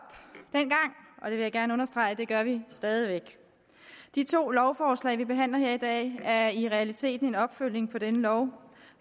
og jeg vil gerne understrege at det gør vi stadig væk de to lovforslag vi behandler her i dag er i realiteten en opfølgning på denne lov